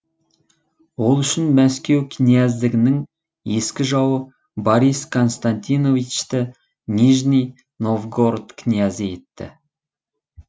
ол үшін мәскеу князьдігінің ескі жауы борис константиновичті нижний новгород князі етті